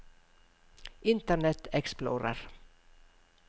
internet explorer